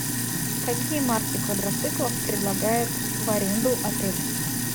какие марки квадроциклов предлагает в аренду отель